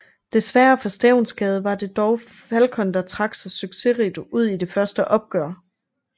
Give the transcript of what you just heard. Desværre for Stevnsgade var det dog Falcon der trak sig succesrigt ud i de første opgør